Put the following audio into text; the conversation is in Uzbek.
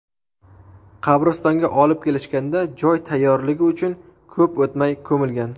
Qabristonga olib kelishganda joy tayyorligi uchun ko‘p o‘tmay ko‘milgan.